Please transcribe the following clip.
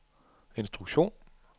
instruktion